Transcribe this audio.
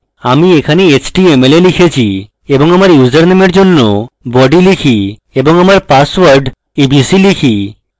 আমি এখানে html এ লিখেছি এবং আমার username এর জন্য body type এবং আমার পাসওয়ার্ড abc রাখি